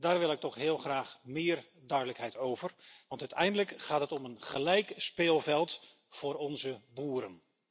Daar wil ik toch heel graag meer duidelijkheid over, want uiteindelijk gaat het om een gelijk speelveld voor onze boeren.